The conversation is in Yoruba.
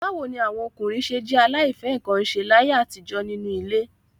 Báwo ni àwọn ọkùnrin ṣé jẹ́ aláìfẹ́-nǹkan-ṣe láyé àtijọ́ nínú ilé?